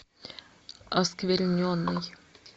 оскверненный